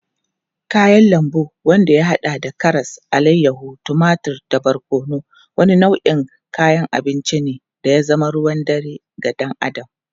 Kayan lambu wanda ya hada da karas, alayyahu, tumatur da barkono, wani nau'in kayan abinci ne da ya zama ruwan dare ga dan Adam.